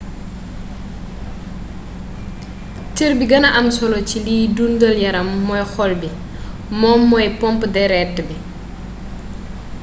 cër bi gëna am solo ci liy dundal yaram mooy xol bi moom mmoy pompe deret ji